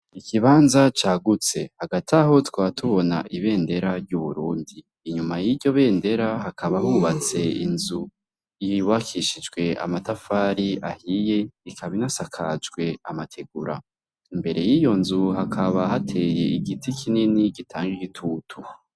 Ikibanza cagutse hagati aho twatubona ibendera ry'uburundi inyuma y'iryo bendera hakaba hubatse inzu iyiwakishijwe amatafari ahiye ikaminasakajwe amategura imbere y'iyo nzu hakaba hateye igiti kinini gitange igitutu.